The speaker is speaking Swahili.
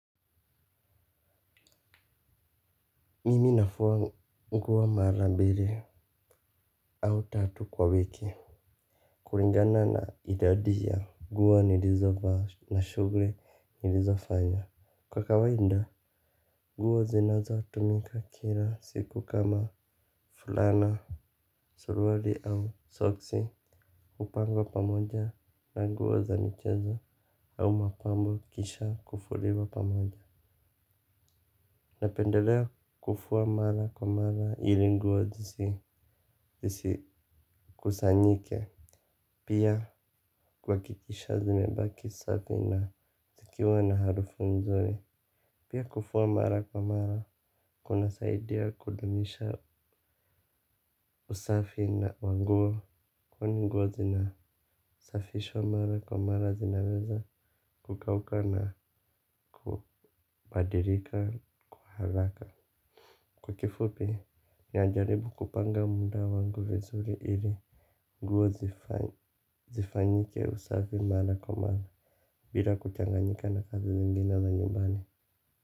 Mimi nafua nguo mara mbili au tatu kwa wiki kulingana na idadi ya nguo nilizovaa na shughuli nilizovanya. Kwa kawaida nguo zinazotumika kila siku kama fulana suruali au soksi. Hupanga pamoja na nguo za michezo au mapambo kisha kufuliwa pamoja. Napendelea kufua mara kwa mara ili nguo zisikusanyike. Pia kuhakikisha zimebaki safi na zikiwa na harufu mzuri. Pia kufua mara kwa mara kunasaidia kudumisha usafi na wa nguo kwani nguo zinasafishwa mara kwa mara zinaweza kukauka na kubadilika kwa haraka. Kwa kifupi. Najaribu kupanga muda wangu vizuri ili nguo zifanyike usafi mara kwa mara bila kuchanganyika na kazi zingina za nyumbani.